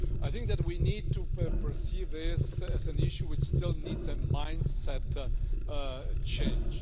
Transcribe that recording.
I think that we need to perceive this as an issue which still needs a mindset change.